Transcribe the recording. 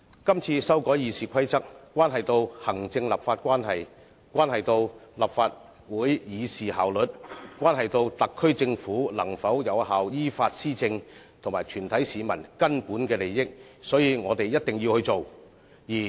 這次修改《議事規則》關係到行政立法關係、立法會議事效率、特區政府能否有效依法施政，以及全體市民的根本利益，所以我們必須做。